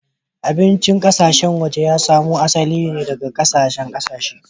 Abincin ƙasashen waje ya samo asali daga ƙasashen ƙasashe.